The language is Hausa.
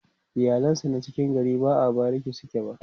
iyalan sa na cikin gari ba a bariki suke ba